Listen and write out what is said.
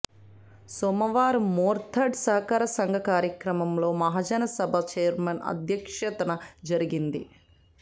సోమవారం మోర్తాడ్ సహకార సంఘం కార్యాలయంలో మహాజనసభ ఛైర్మన్ అధ్యక్షతన జరిగింది